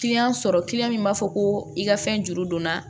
sɔrɔ min b'a fɔ ko i ka fɛn juru don n na